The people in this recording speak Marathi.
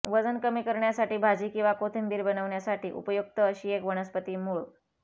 वजन कमी करण्यासाठी भाजी किंवा कोशिंबीर बनवण्यासाठी उपयुक्त अशी एक वनस्पती मूळ